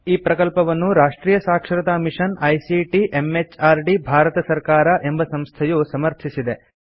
ಈ ಪ್ರಕಲ್ಪವನ್ನು ರಾಷ್ಟ್ರಿಯ ಸಾಕ್ಷರತಾ ಮಿಷನ್ ಐಸಿಟಿ ಎಂಎಚಆರ್ಡಿ ಭಾರತ ಸರ್ಕಾರ ಎಂಬ ಸಂಸ್ಥೆಯು ಸಮರ್ಥಿಸಿದೆ